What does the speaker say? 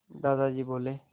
दादाजी बोले